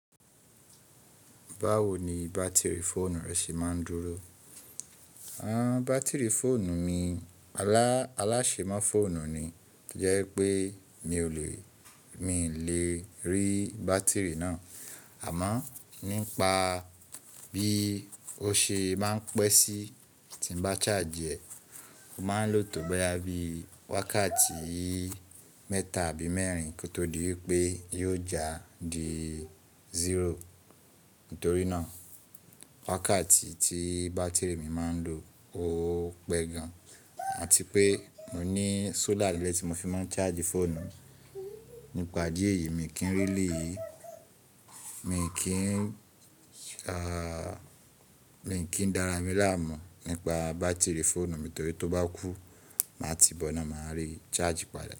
Báwo ni bátìrì fóònù rẹ ṣe máa ń dúró? Bátìrì fóònù mi, alásèmo fóònù ni to jẹ́ pé mi ò lè rí bátìrì náà. Àmọ́ nípa bí ó ṣe máa ń pẹ́ sí tí n bá charge rẹ̀, ó máa ń lò tó báyá bií wákàtí mẹ́ta àbí mẹ́rin kó tó di wípé yóò já di zero. Nítorí náà wákàtí tí bátìrì mi máa ń lo ó pẹ́ gan. Àti pé mò ní solar ni ile tí mo fi máa ń charge fóònù. Nípa idi eyii yìí, mi kì n really Mi kì í dára mi láàmú nípa bátìrì fóònù mi torí tó bá kú màá ti bọ̀ ina, màá rí charge padà.